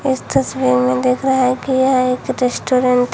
इस तस्वीर में देख रहे है कि यह एक रेस्टोरेंट है।